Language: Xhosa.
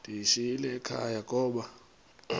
ndiyishiyile ekhaya koba